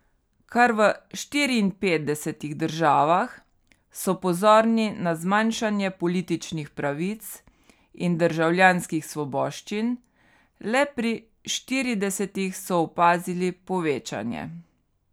Kar v štiriinpetdesetih državah so pozorni na zmanjšanje političnih pravic in državljanskih svoboščin, le pri štiridesetih so opazili povečanje.